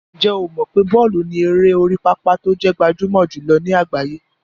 Ǹjẹ́ o mọ̀ pé bọ́ọ̀lù ni eré orí pápá tó jẹ́ gbajúmọ̀ jùlọ ní àgbáyé?